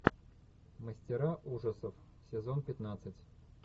мастера ужасов сезон пятнадцать